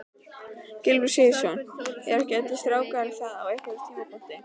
Gylfi Sigurðsson: Eru ekki allir strákar það á einhverjum tímapunkti?